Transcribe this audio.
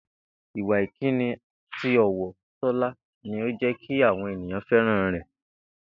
Ìwà ìkíni àti ò̩wò̩ Tó̩lá ni ó jé̩ kí àwo̩n ènìyàn fé̩ràn rè̩